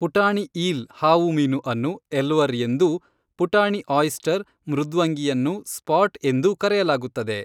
ಪುಟಾಣಿ ಈಲ್ ಹಾವುಮೀನು ಅನ್ನು ಎಲ್ವರ್ ಎಂದೂ ಪುಟಾಣಿ ಆಯಿಸ್ಟರ್ ಮೃದ್ವಂಗಿಯನ್ನು ಸ್ಪಾಟ್ ಎಂದೂ ಕರೆಯಲಾಗುತ್ತದೆ